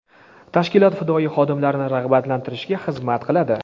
tashkilot fidoyi xodimlarini rag‘batlantirishga xizmat qiladi.